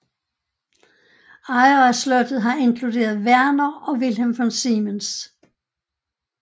Ejere af slottet har inkluderet Werner og Wilhelm von Siemens